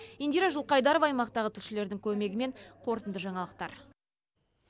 индира жылқайдарова аймақтағы тілшілердің көмегімен қорытынды жаңалықтар